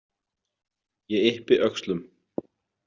Ég yppi öxlum.